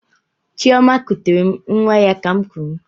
Chioma kutere m nwa ya ka'm kuru.